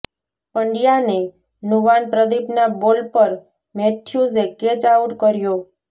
પંડ્યાને નુવાન પ્રદીપના બોલ પર મેથ્યુઝે કેચ આઉટ કર્યો